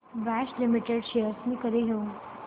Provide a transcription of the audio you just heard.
Bosch limited shares मी कधी घेऊ